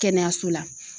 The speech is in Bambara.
Kɛnɛyaso la